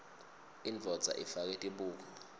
indvodza ifake tibuko